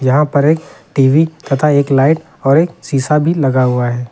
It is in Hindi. यहां पर एक टी_वी तथा एक लाइट और एक शीशा भी लगा हुआ है।